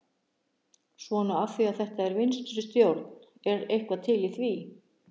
Svona af því að þetta er vinstri stjórn, er eitthvað til í því?